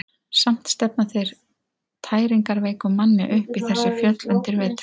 Samt stefna þeir tæringarveikum manni upp í þessi fjöll undir vetur.